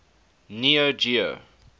neo geo